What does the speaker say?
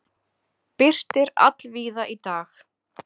Birtir allvíða í dag